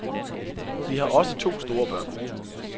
Vi har også to store børn.